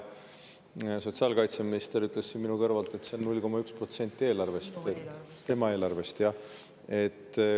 Sotsiaalkaitseminister ütles siit minu kõrvalt, et see on 0,1% eelarvest , tema eelarvest, jah.